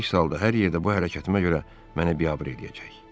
Əks halda hər yerdə bu hərəkətimə görə məni biabır eləyəcək.